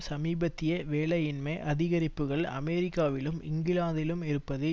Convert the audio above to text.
சமீபத்திய வேலையின்மை அதிகரிப்புக்கள் அமெரிக்காவிலும் இங்கிலாந்திலும் இருப்பது